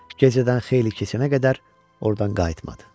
Gecədən xeyli keçənə qədər ordan qayıtmadı.